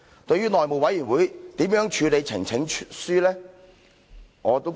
對於內務委員會如何處理呈請書？